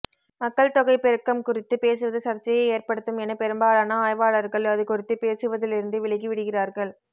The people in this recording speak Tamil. மக்கள் தொகைப் பெருக்கம் குறித்து பேசுவது சர்ச்சையை ஏற்படுத்தும் என பெரும்பாலான ஆய்வாளர்கள் அதுகுறித்து பேசுவதிலிருந்து விலகிவிடுகிறார்கள்